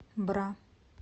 бра